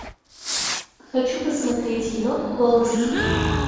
хочу посмотреть кино голос степи